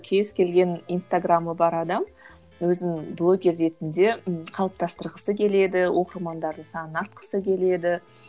кез келген инстаграмы бар адам өзін блогер ретінде ы қалыптастырғысы келеді оқырмандарының санын артқысы келеді